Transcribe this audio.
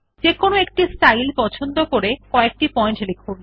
যেকোনো একটি স্টাইল পছন্দ করে কএকটি পয়েন্ট লিখুন